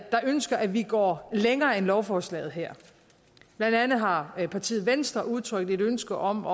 der ønsker at vi går længere end lovforslaget her blandt andet har partiet venstre udtrykt et ønske om